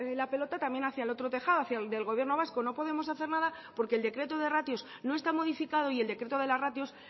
la pelota también hacia el otro tejado hacia el del gobierno vasco no podemos hacer nada porque el decreto de ratios no está modificado y el decreto de las ratios